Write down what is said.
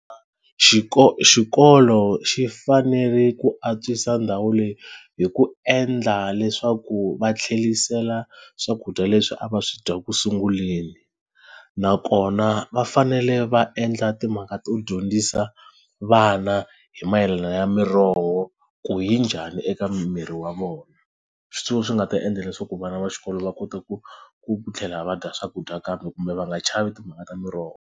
Xiko xikolo xi fanele ku antswisa ndhawu leyi hi ku endla leswaku va tlhelisela swakudya leswi a va swi dya ku sunguleni nakona va fanele va endla timhaka to dyondzisa vana hi mayelana ya miroho ku yi njhani eka miri wa vona swi nga ta endla leswaku vana va xikolo va kota ku ku tlhela va dya swakudya kambe kumbe va nga chavi timhaka ta miroho.